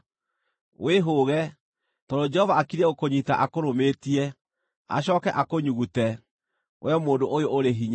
“Wĩhũũge, tondũ Jehova akiriĩ gũkũnyiita akũrũmĩtie, acooke akũnyugute, wee mũndũ ũyũ ũrĩ hinya.